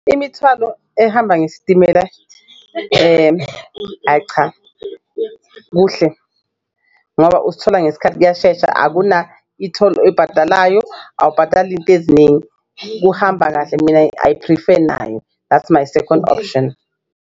Imithwalo ehamba ngesitimela ayi cha kuhle ngoba uzithola ngesikhathi kuyashesha akuna-e-toll oyibhadalayo awubhadali izinto eziningi kuhamba kahle, mina I prefer naye that's my second option.